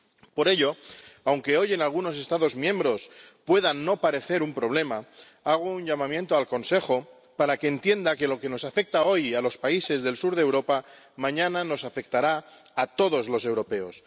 Por ello, aunque hoy en algunos Estados miembros pueda no parecer un problema, hago un llamamiento al Consejo para que entienda que lo que nos afecta hoy a los países del sur de Europa, mañana nos afectará a todos los europeos.